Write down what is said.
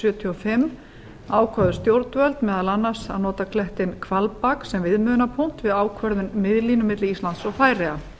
sjötíu og fimm ákváðu stjórnvöld meðal annars að nota klettinn hvalbak sem viðmiðunarpunkt við ákvörðun miðlínu milli íslands og færeyja